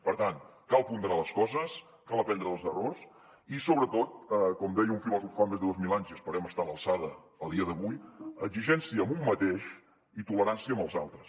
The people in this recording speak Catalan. per tant cal ponderar les coses cal aprendre dels errors i sobretot com deia un filòsof fa més de dos mil anys i esperem estar a l’alçada a dia d’avui exigència amb un mateix i tolerància amb els altres